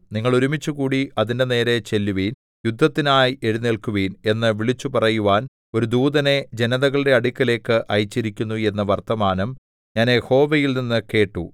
നിങ്ങൾ ഒരുമിച്ചുകൂടി അതിന്റെ നേരെ ചെല്ലുവിൻ യുദ്ധത്തിനായി എഴുന്നേല്ക്കുവിൻ എന്ന് വിളിച്ചുപറയുവാൻ ഒരു ദൂതനെ ജനതകളുടെ അടുക്കലേക്ക് അയച്ചിരിക്കുന്നു എന്ന വർത്തമാനം ഞാൻ യഹോവയിൽനിന്നു കേട്ടു